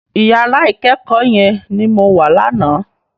Iyàrá ikèékò yèn ni mó wá làná